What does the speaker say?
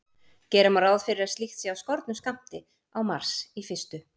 Gera má ráð fyrir að slíkt sé af skornum skammti á Mars í fyrstu.